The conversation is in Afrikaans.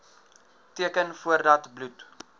teken voordat bloed